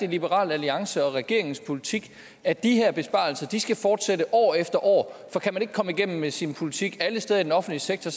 liberal alliance og regeringens politik at de her besparelser skal fortsætte år efter år for kan man ikke komme igennem med sin politik alle steder i den offentlige sektor